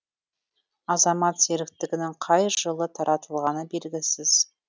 азамат серіктігінің қай жылы таратылғаны белгісіз